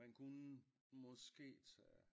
Man kunne måske tage